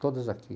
Todas aqui.